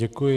Děkuji.